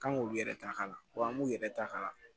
Kan k'olu yɛrɛ ta ka kala wa an b'u yɛrɛ ta ka kala